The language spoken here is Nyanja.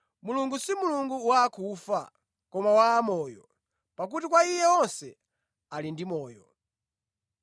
Mulungu si Mulungu wa akufa, koma wa amoyo, pakuti kwa Iye onse ali ndi moyo.”